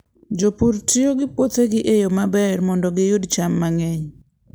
Jopur tiyo gi puothegi e yo maber mondo giyud cham mang'eny.